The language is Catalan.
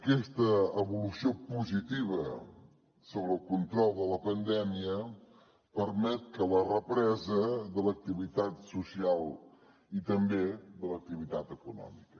aquesta evolució positiva sobre el control de la pandèmia permet la represa de l’activitat social i també de l’activitat econòmica